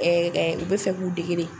u bɛ fɛ k'u dege de.